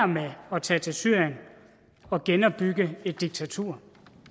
med at tage til syrien og genopbygge et diktatur